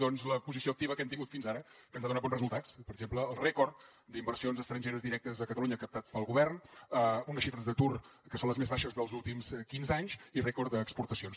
doncs la posició activa que hem tingut fins ara que ens ha donat bons resultats per exemple el rècord d’inversions estrangeres directes a catalunya captades pel govern unes xifres d’atur que són les més baixes dels últims quinze anys i rècord d’exportacions